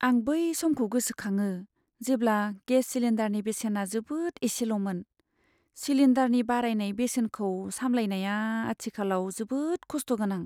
आं बै समखौ गोसोखाङो जेब्ला गेस सिलिन्डारनि बेसेना जोबोद इसेल'मोन। सिलिन्डारनि बारायनाय बेसेनखौ सामलायनाया आथिखालाव जोबोद खस्थ' गोनां।